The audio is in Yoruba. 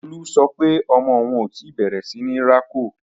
Lolú sọ pé ọmọ òun ò tí bẹ̀rẹ̀ síní rákò